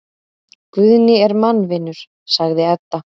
Guðni er mannvinur, sagði Edda.